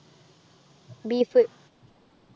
Beef.